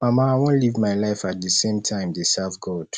mama i wan live my life at the same time dey serve god